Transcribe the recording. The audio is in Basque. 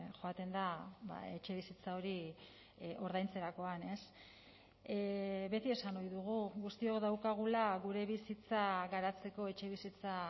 joaten da etxebizitza hori ordaintzerakoan beti esan ohi dugu guztiok daukagula gure bizitza garatzeko etxebizitza